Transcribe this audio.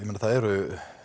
eru